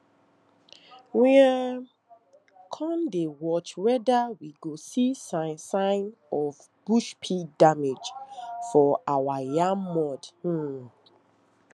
we um come dey watch wether we go see sign sign of bush pig damage for our yam mounds um